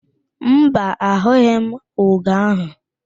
Mba, a hụghị m ugo ahụ